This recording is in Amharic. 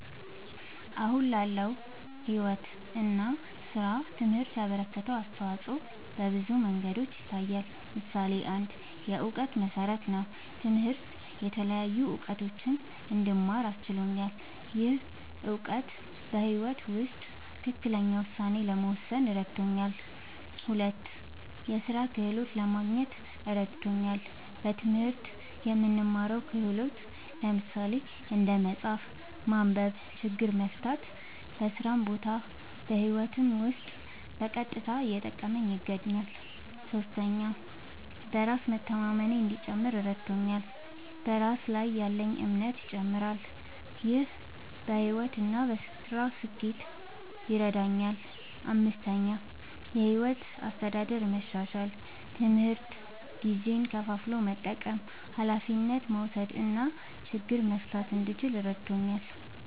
አሁን ላለው ሕይወት እና ሥራ ትምህርት ያበረከተው አስተዋጾ በብዙ መንገዶች ይታያል። ምሳሌ ፩, የእውቀት መሠረት ነዉ። ትምህርት የተለያዩ እዉቀቶችን እንድማር አስችሎኛል። ይህ እውቀት በሕይወት ውስጥ ትክክለኛ ውሳኔ ለመወሰን እረድቶኛል። ፪, የሥራ ክህሎት ለማግኘት እረድቶኛል። በትምህርት የምንማረው ክህሎት (እንደ መጻፍ፣ ማንበብ፣ ችግር መፍታ) በስራ ቦታም በህይወቴም ዉስጥ በቀጥታ እየጠቀመኝ ይገኛል። ፫. በራስ መተማመኔ እንዲጨምር እረድቶኛል። በራስ ላይ ያለኝ እምነትም ይጨምራል። ይህ በሕይወት እና በሥራ ስኬት ይረዳኛል። ፬,. የሕይወት አስተዳደር መሻሻል፦ ትምህርት ጊዜን ከፋፍሎ መጠቀም፣ ኃላፊነት መውሰድ እና ችግር መፍታት እንድችል እረድቶኛል።